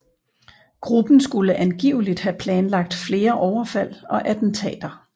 Gruppen skulle angiveligt have planlagt flere overfald og attentater